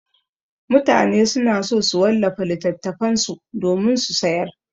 Mutane suna so su wallafa littattafan su domin su sayar.